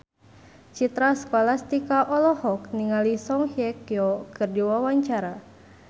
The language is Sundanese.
Citra Scholastika olohok ningali Song Hye Kyo keur diwawancara